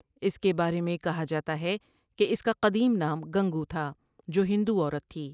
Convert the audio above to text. اس کے بارے میں کہا جاتا ہے کہ اس کاقدیم نام گنگو تھا جو ہندو عورت تھی ۔